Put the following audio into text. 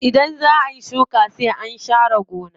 Idan zaa ayi shuka sai an sha re gona.